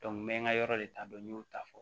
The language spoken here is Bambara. n bɛ ka yɔrɔ de taa dɔn n y'o ta fɔ